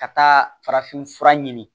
Ka taa farafin fura ɲini